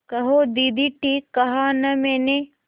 कहो दीदी ठीक कहा न मैंने